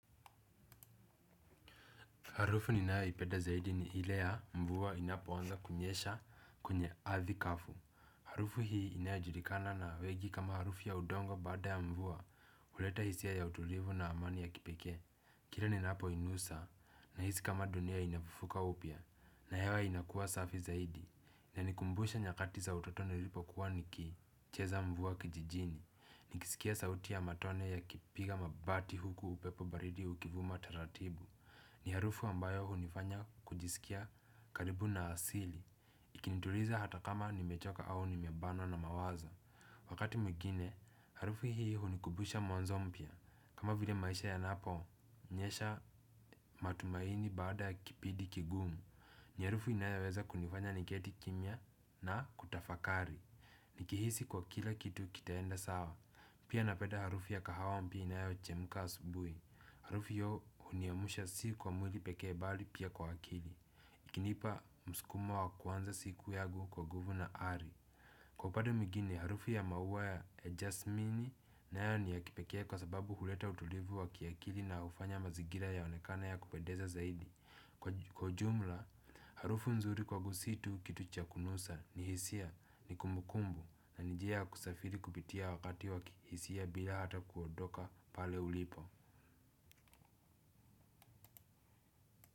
Harufu ninayo ipenda zaidi ni ile ya mvua inapo anza kunyesha kwenye ardhi kavu. Harufu hii inayojulikana na wengi kama harufu ya udongo baada ya mvua huleta hisia ya utulivu na amani ya kipekee. Kile ninapo inusa nahisi kama dunia inafufuka upya na hewa inakuwa safi zaidi. Inanikumbusha nyakati za utotoni nilipo kuwa nikicheza mvua kijijini. Nikisikia sauti ya matone yakipiga mabati huku upepo baridi ukivuma taratibu. Ni harufu ambayo hunifanya kujisikia karibu na asili ikinituliza hata kama nimechoka au nimebana na mawazo. Wakati mwingine, harufu hii hunikumbusha mwanzo mpya. Kama vile maisha yanapo nyesha matumaini baada ya kipindi kigumu. Ni harufu inayoweza kunifanya niketi kimya na kutafakari nikihisi kuwa kila kitu kitaenda sawa. Pia napenda harufu ya kahawampia inaweo chemka asubuhi. Harufu hiyo huniamsha si kwa mwili pekee bali pia kwa akili ikinipa mskumo wa kuanza siku yangu kwa guvna Ari. Kwa padu mgini, harufi ya mauwa ya Ejasmini na yo ni ya kipekee kwa sababu huleta utulivu wa kiakili na ufanya mazigira ya onekana ya kupedeza zaidi. Kwa ujumla, harufu nzuri kwa gusitu kitu chakunusa ni hisia ni kumukumbu na nijia kusafiri kupitia wakati wa kihisia bila hata kuodoka pale ulipo Muzika.